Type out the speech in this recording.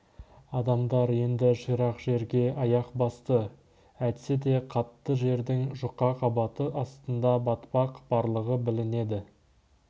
адамдар енді ширақ жерге аяқ басты әйтсе де қатты жердің жұқа қабаты астында батпақ барлығы білінеді